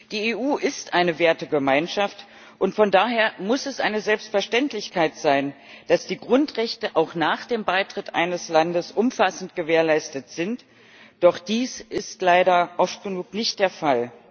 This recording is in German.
Die EU ist eine Wertegemeinschaft, und von daher muss es eine Selbstverständlichkeit sein, dass die Grundrechte auch nach dem Beitritt eines Landes umfassend gewährleistet sind, doch dies ist leider oft genug nicht der Fall.